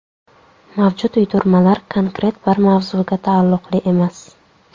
Mavjud uydirmalar konkret bir mavzuga taalluqli emas.